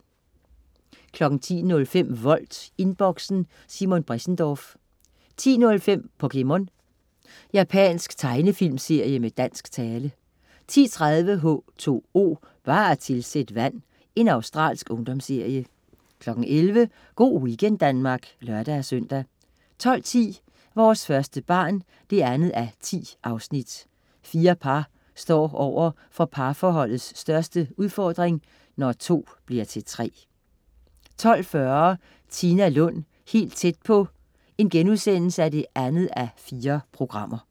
10.05 Volt, Inboxen. Simon Bressendorff 10.05 POKéMON. Japansk tegnefilmserie med dansk tale 10.30 H2O, bare tilsæt vand. Australsk ungdomsserie 11.00 Go' weekend Danmark (lør-søn) 12.10 Vores første barn 2:10. Fire par står over for parforholdets største udfordrin: Når to bliver til tre 12.40 Tina Lund, helt tæt på 2:4*